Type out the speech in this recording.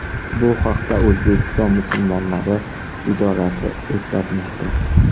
Bu haqda O‘zbekiston musulmonlari idorasi eslatmoqda .